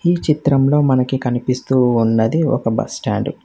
ఈ చిత్రంలో మనకి కనిపిస్తూ ఉన్నది ఒక బస్టాండు .